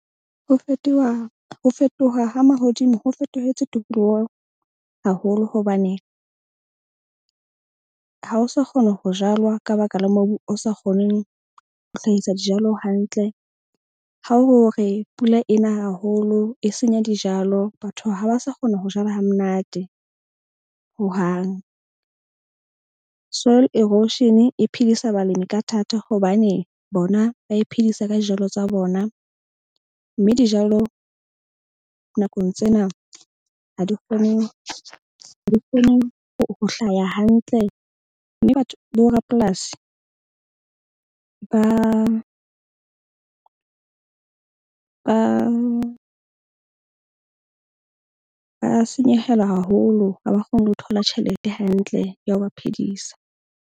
Ho fetoha ha mahodimo ho fetohetse tokoloho haholo hobane ha o sa kgona ho jalwa ka baka la mobu o sa kgoneng ho hlahisa dijalo hantle. Ha o re pula ena haholo e senya dijalo, batho ha ba sa kgona ho jala ha monate hohang. Soil erosion, e phedisa balemi ka thata hobane bona ba e phedisa ka dijalo tsa bona. Mme dijalo nakong tsena ha di kgone ho hlaya hantle mme batho borapolasi ba senyehelwa haholo. Ha ba kgone ho thola tjhelete hantle ya ho ba phedisa.